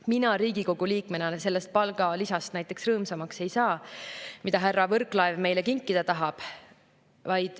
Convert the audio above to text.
Mina Riigikogu liikmena näiteks rõõmsamaks ei saa sellest palgalisast, mida härra Võrklaev meile kinkida tahab.